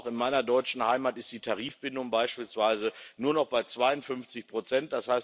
Aber auch in meiner deutschen Heimat ist die Tarifbindung beispielsweise nur noch bei 52 Prozent.